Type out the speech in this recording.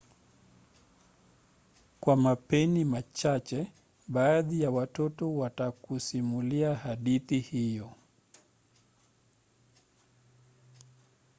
kwa mapeni machache baadhi ya watoto watakusimulia hadithi hiyo